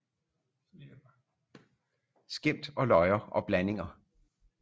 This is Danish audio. Skæmt og løjer og blandinger